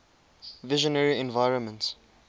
visionary environments